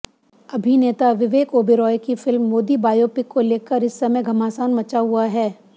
अभिनेता विवेक ओबरॉय की film Modi biopic को लेकर इस समय घमासान मचा हुआ है